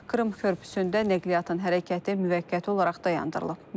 Krım körpüsündə nəqliyyatın hərəkəti müvəqqəti olaraq dayandırılıb.